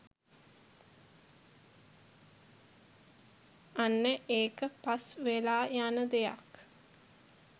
අන්න ඒක පස් වෙලා යන දෙයක්